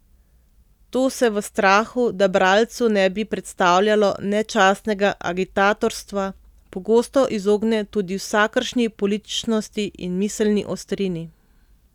To se v strahu, da bralcu ne bi predstavljalo nečastnega agitatorstva, pogosto izogne tudi vsakršni političnosti in miselni ostrini.